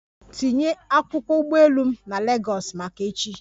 Tinye akwụkwọ ụgbọ elu m na Legọs maka echi!